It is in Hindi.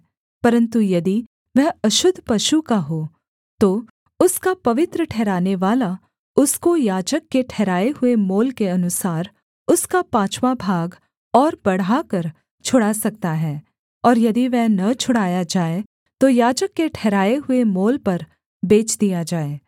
परन्तु यदि वह अशुद्ध पशु का हो तो उसका पवित्र ठहरानेवाला उसको याजक के ठहराए हुए मोल के अनुसार उसका पाँचवाँ भाग और बढ़ाकर छुड़ा सकता है और यदि वह न छुड़ाया जाए तो याजक के ठहराए हुए मोल पर बेच दिया जाए